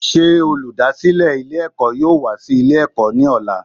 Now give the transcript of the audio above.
Sé olùdásílè Ilé èkó yóò wá sí Ilé èkó ní òla